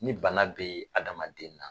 Ni bana bɛ hadamaden na.